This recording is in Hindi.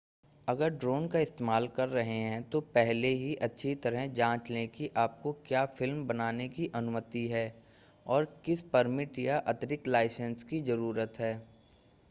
अगर ड्रोन का इस्तेमाल कर रहे हैं तो पहले ही अच्छी तरह जांच लें कि आपको क्या फ़िल्म बनाने की अनुमति है और किस परमिट या अतिरिक्त लाइसेंस की ज़रूरत है